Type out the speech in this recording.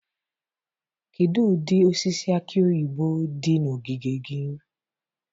Kedu ụdị osisi aki oyibo dị na ogige gị?